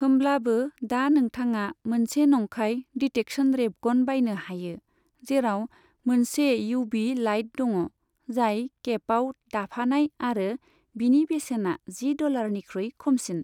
होमब्लाबो, दा नोंथाङा मोनसे नंखाय डिटेक्शन रेबगन बायनो हायो, जेराव मोनसे युवी लाइट दङ, जाय केपआव दाफानाय आरो बिनि बेसेना जि डलारनिख्रुइ खमसिन।